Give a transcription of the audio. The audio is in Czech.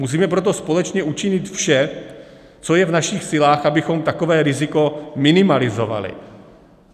Musíme proto společně učinit vše, co je v našich silách, abychom takové riziko minimalizovali.